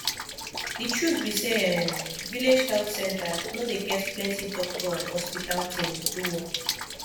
de truth be say um village health center no dey get plenti doctor and hospital thing to do work